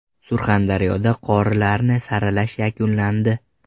Surxondaryoda qorilarni saralash yakunlandi.